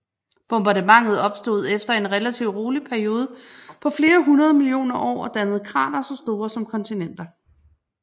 Bombardementet opstod efter en relativ rolig periode på flere hundrede millioner år og dannede kratere så store som kontinenter